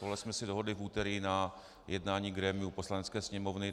Tohle jsme si dohodli v úterý na jednání grémia Poslanecké sněmovny.